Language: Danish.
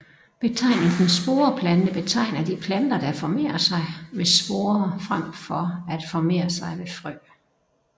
Betegnelsen sporeplante betegner de planter der formerer sig ved sporer frem for at formere sig ved frø